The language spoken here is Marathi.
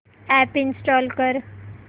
अॅप इंस्टॉल कर